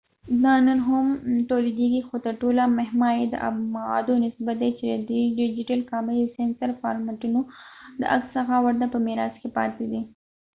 دا نن هم تولیدیږي خو تر ټولو مهمه یې د ابعادو نسبت دی چې د ډیجیټل کامرې د سینسر فارمټونو د عکس څخه ورته په میراث کې پاتې دی